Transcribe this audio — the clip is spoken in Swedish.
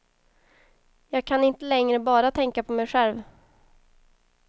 Jag kan inte längre bara tänka på mig själv.